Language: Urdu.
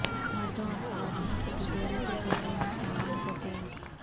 مردوں اور خواتین کی تجوری کے کمرے میں سامان کو پینٹ